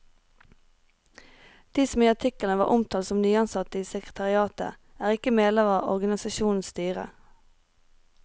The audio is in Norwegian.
De som i artikkelen var omtalt som nyansatte i sekretariatet, er ikke medlemmer av organisasjonens styre.